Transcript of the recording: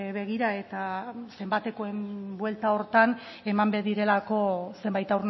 begira eta zenbatekoen buelta horretan eman behar direlako zenbait